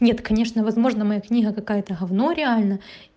нет конечно возможно моя книга какая-то говно реально